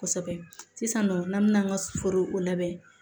Kosɛbɛ sisan nɔ n'an bɛ an ka foro labɛn